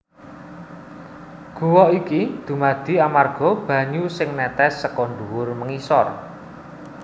Guwa iki dumadi amarga banyu sing nètès seka ndhuwur mengisor